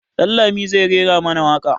Dan lami zai rera mana waƙa.